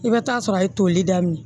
I bɛ taa sɔrɔ a ye toli daminɛ